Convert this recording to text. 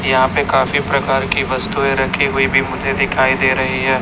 यहां पे काफी प्रकार की वस्तुए रखी हुई भी मुझे दिखाई दे रही है।